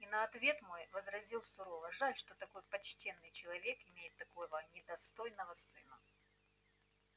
и на ответ мой возразил сурово жаль что такой почтенный человек имеет такого недостойного сына